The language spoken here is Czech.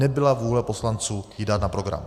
Nebyla vůle poslanců dát ji na program.